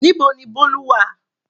Níbo ni Bolu wà?